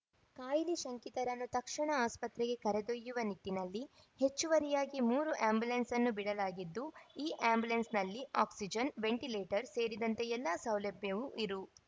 ಕಾಯಿಲೆ ಶಂಕಿತರನ್ನು ತಕ್ಷಣ ಆಸ್ಪತ್ರೆಗೆ ಕರೆದೊಯ್ಯುವ ನಿಟ್ಟಿನಲ್ಲಿ ಹೆಚ್ಚುವರಿಯಾಗಿ ಮೂರು ಅಂಬ್ಯುಲೆನ್ಸ್‌ ಬಿಡಲಾಗಿದ್ದು ಈ ಅಂಬ್ಯುಲೆನ್ಸ್‌ನಲ್ಲಿ ಆಕ್ಸಿಜನ್‌ ವೆಂಟಿಲೇಟರ್‌ ಸೇರಿದಂತೆ ಎಲ್ಲ ಸೌಲಭ್ಯವೂ ಇರು